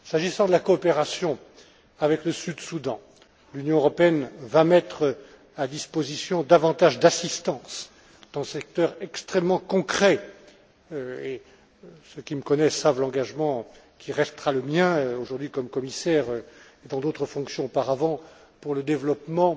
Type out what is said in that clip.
S'agissant de la coopération avec le Sud Soudan, l'Union européenne va mettre à disposition davantage d'assistance dans ce secteur extrêmement concret et ceux qui me connaissent savent l'engagement qui restera le mien aujourd'hui comme commissaire et dans d'autres fonctions auparavant pour le développement